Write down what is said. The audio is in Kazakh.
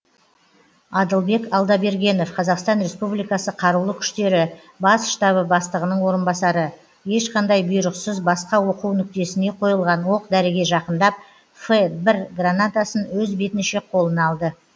адылбек алдабергенов қазақстан республикасы қарулы күштері бас штабы бастығының орынбасары ешқандай бұйрықсыз басқа оқу нүктесіне қойылған оқ дәріге жақындап ф бір гранатасын өз бетінше қолына алды